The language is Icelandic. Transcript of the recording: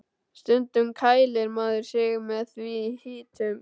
Stundum kælir maður sig með því í hitum.